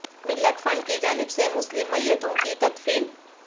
ملت فنڈ کی جانب سے مسلم میتوں کی تدفین